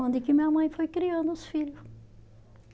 que minha mãe foi criando os filho